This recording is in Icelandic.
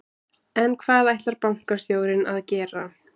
En hvað ætlar bankastjórinn að gera?